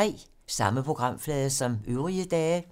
Samme programflade som øvrige dage